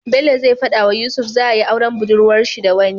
Bello zai fada wa yusuf za ayi auren budurwar shi da wani